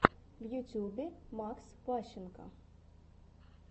в ютюбе макс ващенко